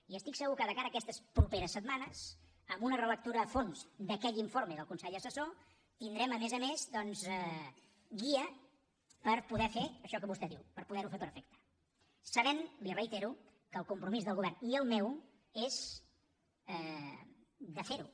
i estic segur que de cara a aquestes properes setmanes amb una relectura a fons d’aquell informe del consell assessor tindrem a més a més doncs una guia per poder fer això que vostè diu per poder fer ho fer perfecte sabent li ho reitero que el compromís del govern i el meu és fer ho